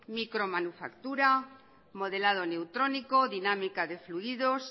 micromanufactura modelado neutrónico dinámica de fluidos